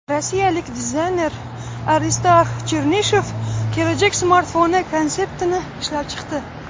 Rossiyalik dizayner Aristarx Chernishev kelajak smartfoni konseptini ishlab chiqdi.